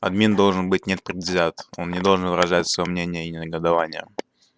обмен должен быть непредвзят он не должен выражать своё мнение негодования